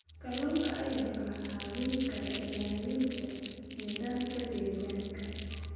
Kalluunka ayaa kaa caawin kara ilaalinta nidaamka deegaanka.